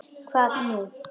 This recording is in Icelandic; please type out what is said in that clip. SKÚLI: Hvað nú?